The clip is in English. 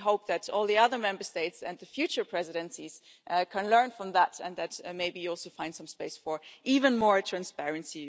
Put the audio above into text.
We hope that all the other Member States and the future presidencies can learn from that and that maybe you will also find some space for even more transparency.